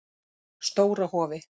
Stóra Hofi